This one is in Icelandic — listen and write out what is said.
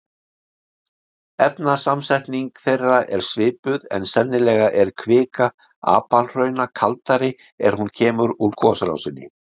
Efnasamsetning þeirra er svipuð en sennilega er kvika apalhrauna kaldari er hún kemur úr gosrásinni.